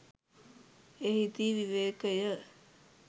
එහිදී විවේකය